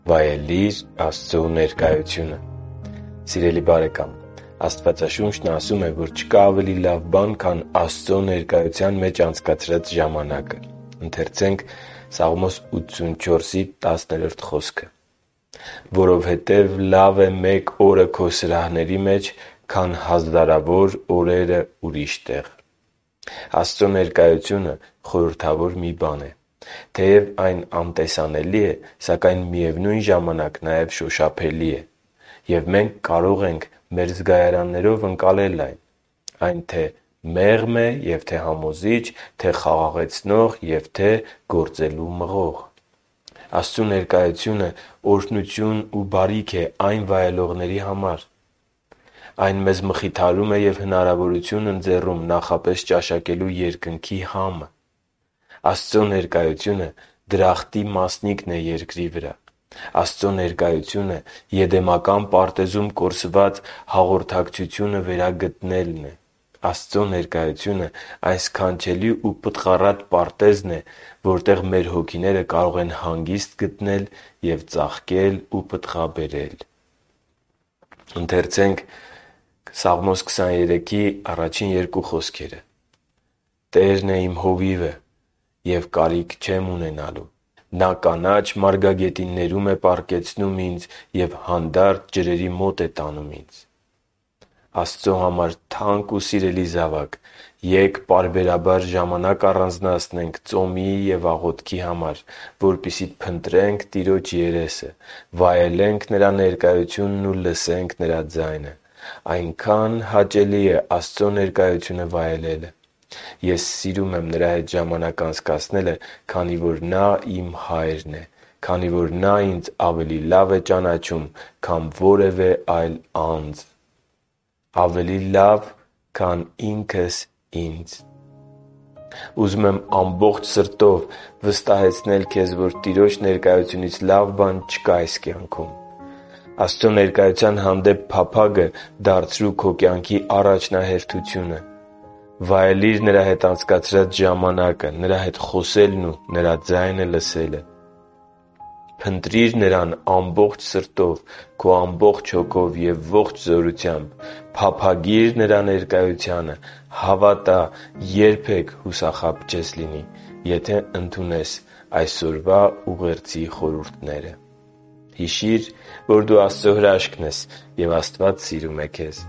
Վայելի՛ր Աստծո ներկայությունը․․․ Սիրելի՛ բարեկամ, Աստվածաշունչն ասում է, որ չկա ավելի լավ բան, քան Աստծո ներկայության մեջ անցկացրած ժամանակը․ «Որովհետև լավ է մեկ օրը Քո սրահների մեջ, քան հազարավոր օրերը ուրիշ տեղ...» (Սաղմոս 84.10)։ Աստծո ներկայությունը խորհրդավոր մի բան է։ Թեև այն անտեսանելի է, սակայն, միևնույն ժամանակ, նաև շոշափելի է, և մենք կարող ենք մեր զգայարաններով ընկալել այն։ Այն թե՛ մեղմ է և թե՛ համոզիչ, թե՛ խաղաղեցնող և թե՛ գործելու մղող․․․ Աստծո ներկայությունը օրհնություն ու բարիք է այն վայելողների համար։ Այն մեզ մխիթարում է և հնարավորություն ընձեռում նախապես ճաշակելու Երկնքի համը։ Աստծո ներկայությունը դրախտի մասնիկն է երկրի վրա։ Աստծո ներկայությունը Եդեմական պարտեզում կորսված հաղորդակցությունը վերագտնելն է։ Աստծո ներկայությունը այն սքանչելի ու պտղառատ պարտեզն է, որտեղ մեր հոգիները կարող են հանգիստ գտնել և ծաղկել ու պտղաբերել։ «Տերն է իմ հովիվը, և կարիք չեմ ունենալու։ Նա կանաչ մարգագետիններում է պառկեցնում ինձ և հանդարտ ջրերի մոտ է տանում ինձ» (Սաղմոս 23․1-2)։ Աստծո համար թանկ ու սիրելի՛ զավակ, ե՛կ պարբերաբար ժամանակ առանձնացնենք ծոմի և աղոթքի համար, որպեսզի փնտրենք Տիրոջ երեսը, վայելենք Նրա ներկայությունն ու լսենք Նրա ձայնը։ Այնքա՜ն հաճելի է Աստծո ներկայությունը վայելելը։ Ես սիրում եմ Նրա հետ ժամանակ անցկացնելը, քանի որ Նա իմ Հայրն է, քանի որ Նա ինձ ավելի լավ է ճանաչում, քան որևէ այլ անձ․․․ ավելի լավ, քան ինքս ինձ։ Ուզում եմ իմ ամբողջ սրտով վստահեցնել քեզ, որ Տիրոջ ներկայությունից լավ բան չկա այս կյանքում։ Աստծո ներկայության հանդեպ փափագը դարձրո՛ւ քո կյանքի առաջնահերթությունը։ Վայելի՛ր Նրա հետ անցկացրած ժամանակը, Նրա հետ խոսելն ու Նրա ձայնը լսելը։ Փնտրի՛ր Նրան ամբողջ սրտով, քո ամբողջ հոգով և ողջ զորությամբ։ Փափագի՛ր Նրա ներկայությանը։ Հավատա՝ երբեք հուսախաբ չես լինի, եթե ընդունես այսօրվա ուղերձի խորհուրդները։ Հիշի՛ր, որ դու Աստծո հրաշքն ես, և Աստված սիրում է քեզ